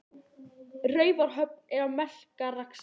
Raufarhöfn er á Melrakkasléttu.